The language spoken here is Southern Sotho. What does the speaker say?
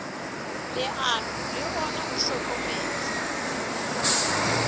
leano le ona o hlokometse